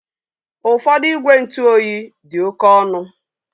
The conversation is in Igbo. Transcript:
Ụfọdụ igwe ntụ oyi dị oke ọnụ